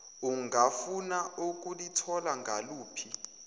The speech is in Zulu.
ungafuna ukulithola ngaluphi